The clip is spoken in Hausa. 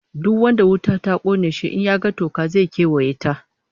Duk wanda wuta ta kona shi, in ya ga toka, zai kewaye ta